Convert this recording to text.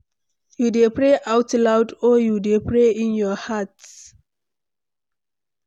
You dey pray out loud or you dey pray in your heart?